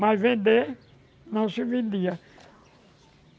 Mas vender não se vendia.